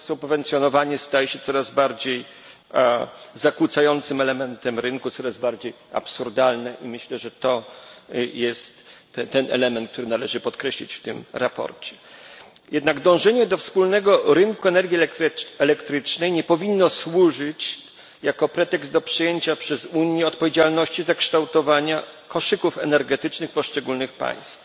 To subwencjonowanie staje się coraz bardziej zakłócającym elementem rynku, jest coraz bardziej absurdalne i myślę, że to jest ten element, który należy podkreślić w tym sprawozdaniu. Dążenie do wspólnego rynku energii elektrycznej nie powinno jednak służyć jako pretekst do przyjęcia przez Unię odpowiedzialności za kształtowanie koszyków energetycznych poszczególnych państw.